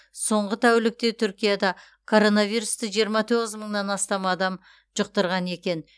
соңғы тәулікте түркияда коронавирусты жиырма тоғыз мыңнан астам адам жұқтырған екен